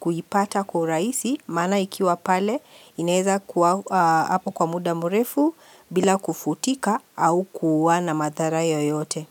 kuipata kwa urahisi Maana ikiwa pale inaeza kuwa hapo kwa muda mrefu bila kufutika au kuwa na madhara yoyote.